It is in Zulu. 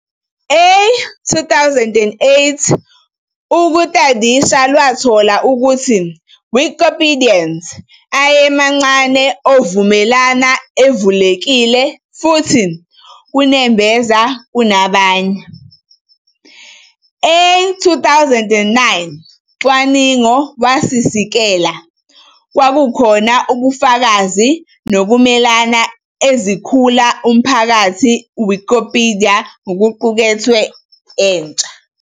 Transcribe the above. A 2008 Ukutadisha lwathola ukuthi Wikipedians ayemancane ovumelana, evulekile, futhi kanembeza kunabanye. A 2009 cwaningo wasikisela kwakukhona 'ubufakazi nokumelana ezikhula emphakathini Wikipedia kokuqukethwe entsha ".